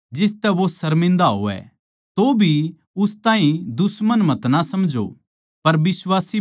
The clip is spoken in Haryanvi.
तौभी उस ताहीं दुश्मन मतना समझो पर बिश्वासी भाई जाणकै समझाओ